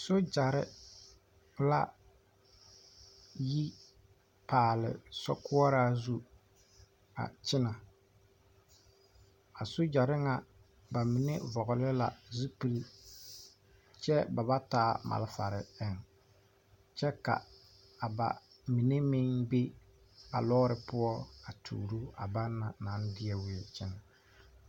Sogyare la yi paale sokoɔra zu a kyɛnɛ a sogyare ŋa ba mine vɔgle la zupili kyɛ ba ba taa malfare eŋ kyɛ ka ba mine meŋ be a loori poɔ a tuuro a bana naŋ de weɛ kyɛnɛ.